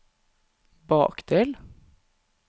bakdel